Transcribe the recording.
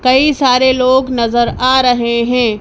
कई सारे लोग नजर आ रहे है।